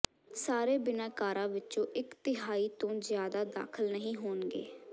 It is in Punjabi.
ਸਾਰੇ ਬਿਨੈਕਾਰਾਂ ਵਿੱਚੋਂ ਇੱਕ ਤਿਹਾਈ ਤੋਂ ਜ਼ਿਆਦਾ ਦਾਖਲ ਨਹੀਂ ਹੋਣਗੇ